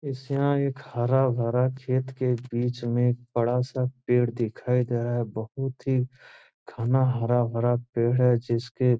इस यहां एक हरा-भरा खेत के बीच में एक बड़ा-सा पेड़ दिखाई दे रहा है बहुत ही घना हरा-भरा पेड़ है जिसके --